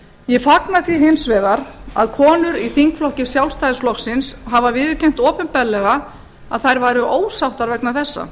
ég fagna því hins vegar að konur í þingflokki sjálfstæðisflokksins hafa viðurkennt opinberlega að þær væru ósáttar vegna þessa